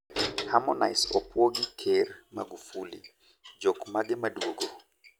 Harmonise opwo gi ker Magufuli. Jok mage maduogo?